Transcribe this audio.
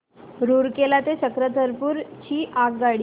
रूरकेला ते चक्रधरपुर ची आगगाडी